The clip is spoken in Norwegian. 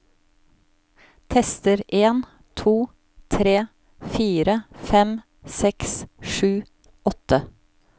Tester en to tre fire fem seks sju åtte